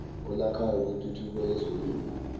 elakhayo kwintuthuko yezolimo